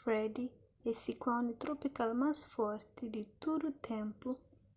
fred é sikloni tropikal más forti di tudu ténpu